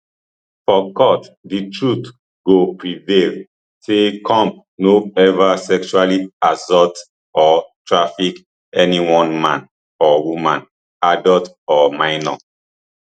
for court di truth go prevail say combs no ever sexually assault or traffic anyone man or woman adult or minor